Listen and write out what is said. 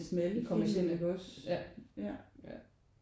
I det kommercielle ja ja